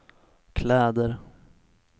kläder